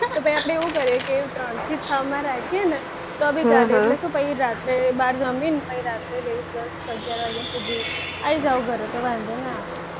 તો પછી આપણે એવું કરીએ કે ત્રણ થી છ માં રાખીએ ને તો બી ચાલે તો પછી શું રાત્રે બહાર જમીન પછી રાત્રે late દસ અગિયાર વાગ્યા સુધી આવી જાઓ ઘરે તો વાંધો ના આવે